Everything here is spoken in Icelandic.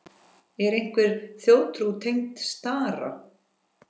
Er einhver þjóðtrú tengd stara?